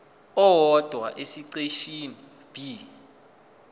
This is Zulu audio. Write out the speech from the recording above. owodwa esiqeshini b